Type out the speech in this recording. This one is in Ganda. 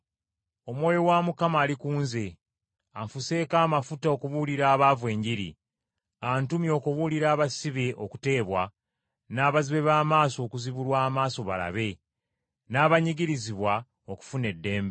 “Omwoyo wa Mukama ali ku nze. Anfuseeko amafuta okubuulira abaavu Enjiri. Antumye okubuulira abasibe okuteebwa, n’abazibe b’amaaso okuzibulwa amaaso balabe, n’abanyigirizibwa okufuna eddembe,